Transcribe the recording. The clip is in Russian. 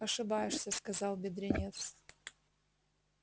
ошибаешься сказал бедренец